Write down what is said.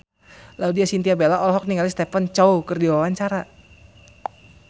Laudya Chintya Bella olohok ningali Stephen Chow keur diwawancara